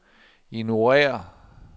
ignorér